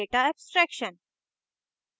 data abstraction